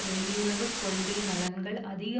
வெளியுறவு கொள்கை நலன்கள் அதிக